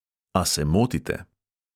A se motite.